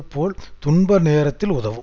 போல் துன்ப நேரத்தில் உதவும்